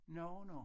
Nå nå